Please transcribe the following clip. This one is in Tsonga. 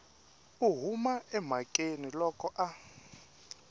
u huma emhakeni loko a